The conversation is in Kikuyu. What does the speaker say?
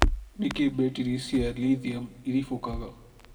Nĩkĩĩ mbetiri cia lithium iribũkaga?